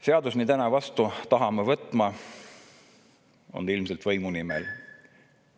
Seadus, mille täna vastu tahame võtta, on ilmselt võimu nimel.